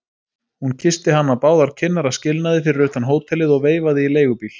Hún kyssti hann á báðar kinnar að skilnaði fyrir utan hótelið og veifaði í leigubíl.